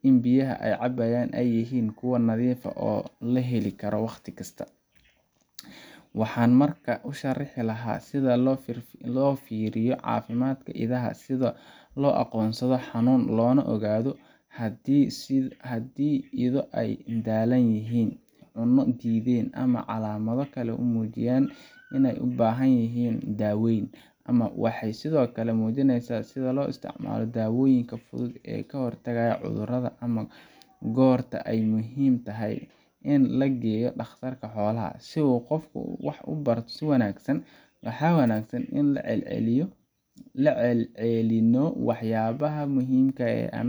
in biyaha ay cabayaan ay yihiin kuwo nadiif ah oo la heli karo waqti kasta. Waxaan markaa u sharxi lahaa sida loo fiiriyo caafimaadka idaha — sida loo aqoonsado xanuun, loona ogaado haddii ido ay daallan yihiin, cunno diideen ama calaamado kale oo muujinaya in ay u baahan yihiin daaweyn. Waxaan sidoo kale muujinayaa sida loo isticmaalo dawooyinka fudud ee ka hortagga cudurrada, ama goorta ay muhiim tahay in la geeyo dhakhtarka xoolaha. Si uu qofku wax u barto si wanaagsan, waxaa wanaagsan in aan ku celcelinno waxyaabaha muhiimka ah